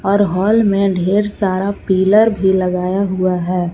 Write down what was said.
और हॉल में ढेर सारा पिलर भी लगाया हुआ है।